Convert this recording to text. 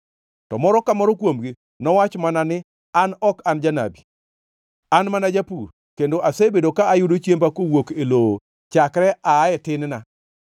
To moro ka moro kuomgi nowach mana ni, ‘An ok an janabi. An mana japur, kendo asebedo ka ayudo chiemba kowuok e lowo chakre aa e tin-na.’